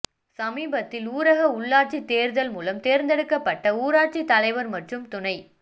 சமீபத்தில் ஊரக உள்ளாட்சி தேர்தல் மூலம் தேர்ந்தெடுக்கப்பட்ட ஊராட்சி தலைவர் மற்றும் துணை